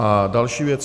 A další věc.